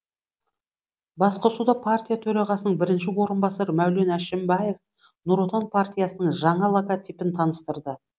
басқосуда партия төрағасының бірінші орынбасары мәулен әшімбаев нұр отан партиясының жаңа логотипін таныстырды